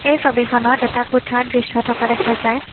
এই ছবিখনত এটা কোঠা দৃশ্য থকা দেখা যায়।